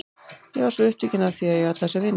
Ég varð svo upptekin af því að eiga alla þessa vini.